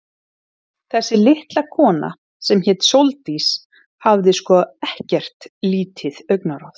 Þessi litla kona, sem hét Sóldís, hafði sko ekkert lítið augnaráð.